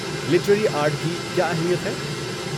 Literary art کی کیا اہمیت ہے؟